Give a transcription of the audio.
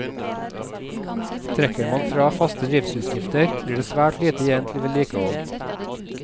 Trekker man fra faste driftsutgifter, blir det svært lite igjen til vedlikehold.